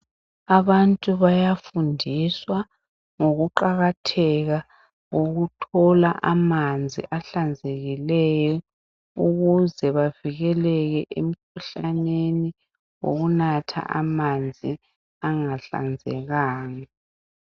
Abantu bayafundiswa ngokuqakatheka kokuthola amanzi ahlanzekileyo ukuze bavikeleke emkhuhlaneni wokunatha amanzi angahlanzekanga.